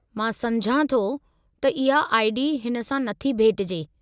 मां समुझां थो थो त इहा आई.डी. हिन सां न थी भेटिजे।